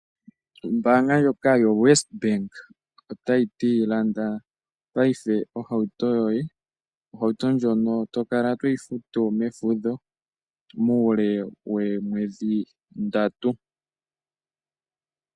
Oombanga ndjoka yoWesbank otayi landa paife ohauto yoye ohauto ndjono takala toyi futu mefudho muule womwedhi ndatu